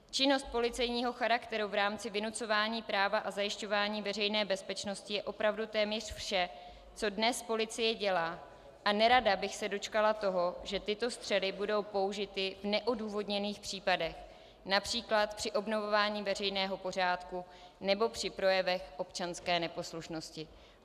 Činnost policejního charakteru v rámci vynucování práva a zajišťování veřejné bezpečnosti je opravdu téměř vše, co dnes policie dělá, a nerada bych se dočkala toho, že tyto střely budou použity v neodůvodněných případech, například při obnovování veřejného pořádku nebo při projevech občanské neposlušnosti.